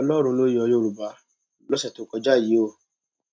ọlọrun ló yọ yorùbá lọsẹ tó kọjá yìí o